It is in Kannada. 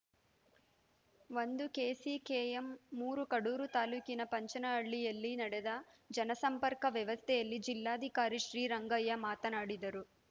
ಒಂದು ಕೆಸಿಕೆಎಂ ಮೂರು ಕಡೂರು ತಾಲೂಕಿನ ಪಂಚನಹಳ್ಳಿಯಲ್ಲಿ ನಡೆದ ಜನಸಂಪರ್ಕ ಸಭೆಯಲ್ಲಿ ಜಿಲ್ಲಾಧಿಕಾರಿ ಶ್ರೀರಂಗಯ್ಯ ಮಾತನಾಡಿದರು